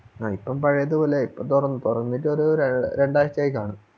അഹ് ഇപ്പം പഴയത് പോലായി ഇപ്പം തൊറന്നു തൊറന്നിട്ടൊരു ര രണ്ടാഴ്ചയായിക്കാണും